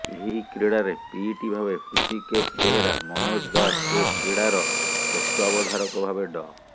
ଏହି କ୍ରୀଡାରେ ପିଇଟି ଭାବେ ହୃଷିକେଶ ବେହେରା ମନୋଜ ଦାସ ଏବଂ କ୍ରୀଡାର ତତ୍ତ୍ୱାବଧାରକ ଭାବେ ଡ